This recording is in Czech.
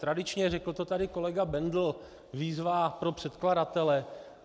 Tradičně, řekl to tady kolega Bendl, výzva pro předkladatele.